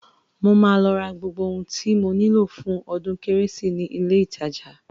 Mo máa lọ ra gbogbo ohun tí mo nílò fún ọdún kérésì ni ilé-ìtajà